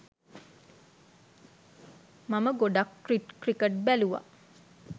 මම ගොඩක් ක්‍රිකට් බැලුව.